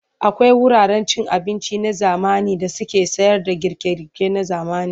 Akwai wuraren cin abinci na zamani da suke sayarda girke-girke na zamani.